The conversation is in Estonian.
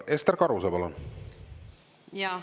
Ester Karuse, palun!